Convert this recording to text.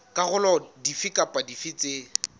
dikarolo dife kapa dife tse